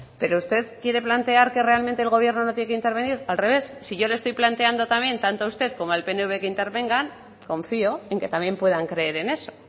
pero usted quiere plantear que realmente el gobierno no tiene que intervenir al revés si yo le estoy planteando también tanto a usted como al pnv que intervengan confío en que también puedan creer en eso